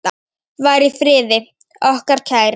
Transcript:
Far í friði, okkar kæri.